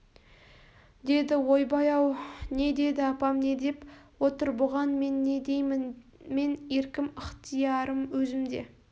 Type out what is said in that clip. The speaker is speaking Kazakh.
деді ойбай-ау не деді апам не деп отыр бұған мен не деймін мен еркім ықтиярым өзімде